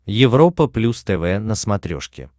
европа плюс тв на смотрешке